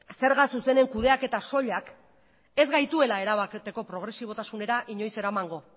zerga zuzenen kudeaketa soilak ez gaituela erabateko progresibotasunera inoiz eramango